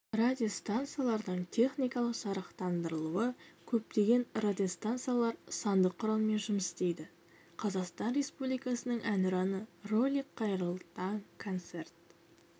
радиостанциялардың техникалық жарақталандыруы көптеген радиостанциялар сандық құралдармен жұмыс істейді қазақстан республикасының әнұраны ролик қайырлы таң концерт